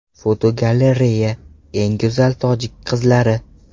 Fotogalereya: Eng go‘zal tojik qizlari.